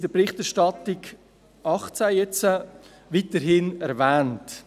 In der Berichterstattung 2018 wird es weiterhin erwähnt.